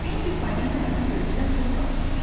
Benbi Fəlinaya bu görüşdən çox danışmışdı.